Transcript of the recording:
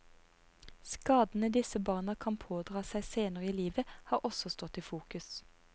Skadene disse barna kan pådra seg senere i livet, har også stått i fokus.